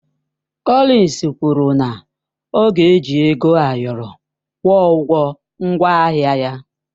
Cọlins kwụrụ na ọ ga-eji ego ayọrọ kwụọ ụgwọ ngwaahịa ya.